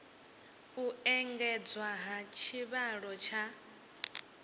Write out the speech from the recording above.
u engedzwa ha tshivhalo tsha